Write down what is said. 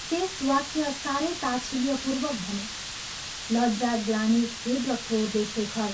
शेष वाक्य साह्रै ताच्छिल्यपूर्वक भने लज्जा, ग्लानि, खेद र क्रोधले शेखर